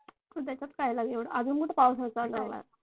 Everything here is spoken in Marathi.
तर त्याच्यात काय झाले एवढं अजून कुठे पावसाळा चालू झाला आहे